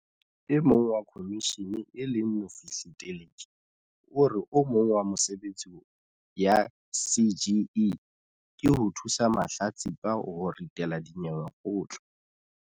E mong wa khomishene e leng Mofihli Teleki o re o mong wa mesebetsi ya CGE ke ho thusa mahlatsipa ho ritela dinyewe kgotla.